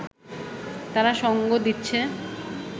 তারা সঙ্গ দিচ্ছে